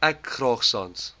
ek graag sans